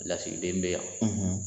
Lasigiden bɛ yan,